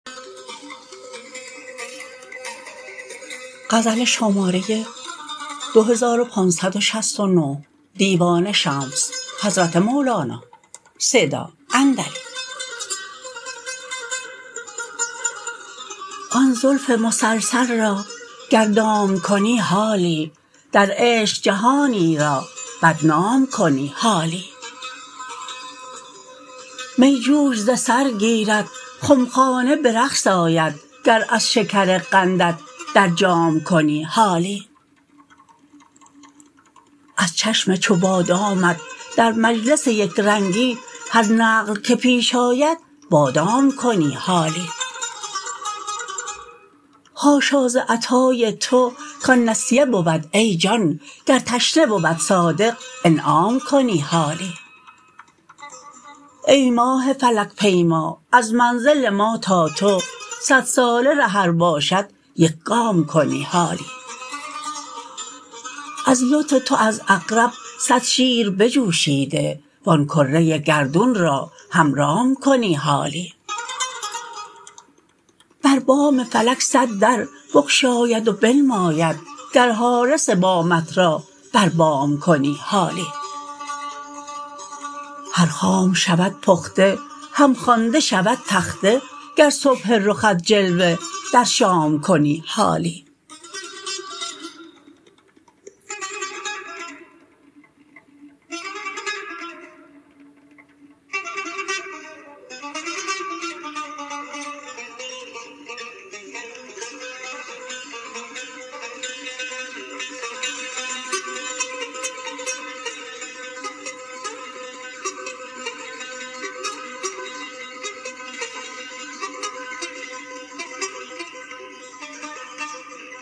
آن زلف مسلسل را گر دام کنی حالی در عشق جهانی را بدنام کنی حالی می جوش ز سر گیرد خمخانه به رقص آید گر از شکر قندت در جام کنی حالی از چشم چو بادامت در مجلس یک رنگی هر نقل که پیش آید بادام کنی حالی حاشا ز عطای تو کان نسیه بود ای جان گر تشنه بود صادق انعام کنی حالی ای ماه فلک پیما از منزل ما تا تو صدساله ره ار باشد یک گام کنی حالی از لطف تو از عقرب صد شیر بجوشیده و آن کره گردون را هم رام کنی حالی بر بام فلک صد در بگشاید و بنماید گر حارس بامت را بر بام کنی حالی هر خام شود پخته هم خوانده شود تخته گر صبح رخت جلوه در شام کنی حالی